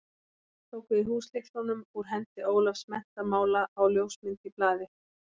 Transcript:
Tók við húslyklunum úr hendi Ólafs menntamála á ljósmynd í blaði.